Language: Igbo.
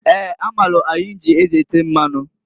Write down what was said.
Eeǃ A maalụ ahinji e ji ete mmanu.